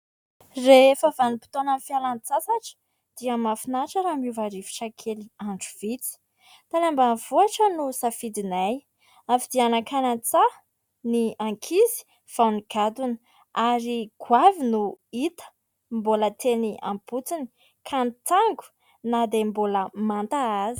Rehefa vanimpotoanan'ny fialan-tsasatra dia mahafinaritra raha miova rivotra kely andro vitsy; tany ambanivohitra no safidinay, avy dia nankany an-tsaha ny ankizy vao nigadona ary goavy no hita mbola teny ampotony ka nitango na dia mbola manta azy.